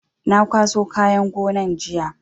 Na kwaso kayan gonan jiya